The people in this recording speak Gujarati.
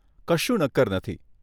કશું નક્કર નથી.